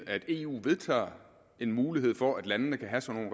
at eu vedtager en mulighed for at landene kan have sådan